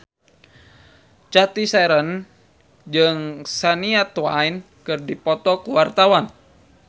Cathy Sharon jeung Shania Twain keur dipoto ku wartawan